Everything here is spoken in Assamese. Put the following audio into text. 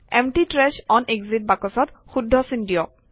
এম্পটি ট্ৰাশ অন এক্সিট বাকচত শুদ্ধ চিন দিয়ক